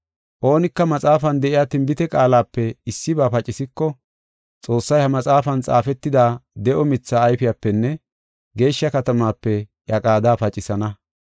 Oonika maxaafan de7iya tinbite qaalape issiba pacisiko, Xoossay ha maxaafan xaafetida de7o mithaa ayfiyapenne geeshsha katamaape iya qaada pacisana.